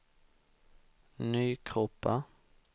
Nykroppa